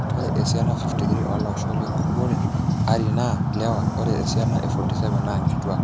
Ore esiana 53 olaoshok lengukuoele ari naa lewa ore esiana e 47 naa nkitwak.